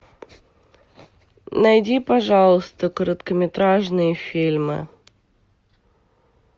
найди пожалуйста короткометражные фильмы